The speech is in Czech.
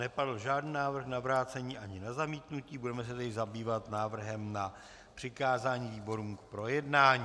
Nepadl žádný návrh na vrácení ani na zamítnutí, budeme se tedy zabývat návrhem na přikázání výborům k projednání.